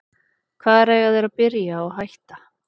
Hvar eiga þeir að byrja og hætta?